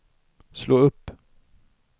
slå upp